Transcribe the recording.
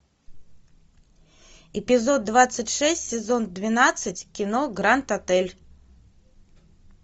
эпизод двадцать шесть сезон двенадцать кино гранд отель